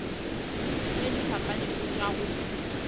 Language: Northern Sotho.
tše di fapanego tša go